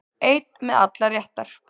Einn með allar réttar